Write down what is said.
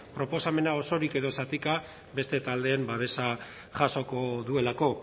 proposamena osorik edo zatika beste taldeen babesa jasoko duelako